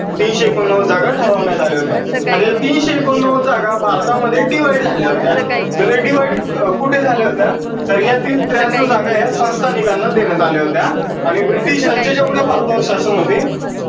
तीनशे एकोणनव्वद जागा ठरवण्यात आल्या होत्या. आता या तीनशे एकोणनव्वद जागा भारतामध्ये divide झाल्या होत्या. तर ह्या divide कुठे झाल्या होत्या? तर ह्यातील त्र्यान्नौ जागा ह्या संस्थानिकांना देण्यात आल्या होत्या. आणि ब्रिटीशांचे जेव्हा भारतावर शासन होते